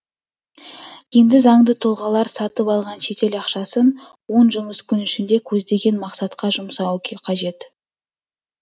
енді заңды тұлғалар сатып алған шетел ақшасын он жұмыс күні ішінде көздеген мақсатқа жұмсауы қажет